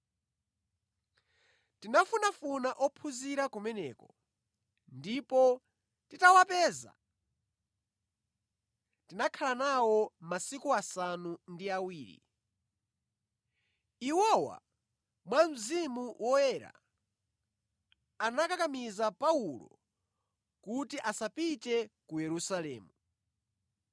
Tinafunafuna ophunzira kumeneko, ndipo titawapeza tinakhala nawo masiku asanu ndi awiri. Iwowa, mwa Mzimu Woyera anakakamiza Paulo kuti asapite ku Yerusalemu.